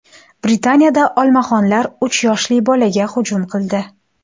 Britaniyada olmaxonlar uch yoshli bolaga hujum qildi.